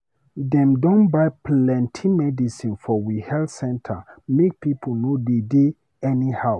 Dem don buy plenty medicin for we health center make pipo no dey dey anyhow.